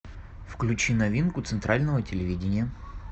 включи новинку центрального телевидения